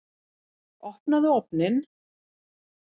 Opnaðu ofninn!